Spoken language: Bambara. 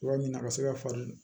Yɔrɔ min na a ka se ka falen